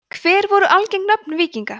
hver voru algeng nöfn víkinga